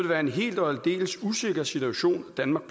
være en helt og aldeles usikker situation danmark